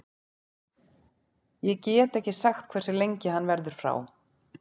Ég get ekki sagt hversu lengi hann verður frá.